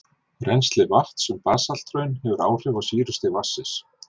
Rennsli vatns um basalthraun hefur áhrif á sýrustig vatnsins.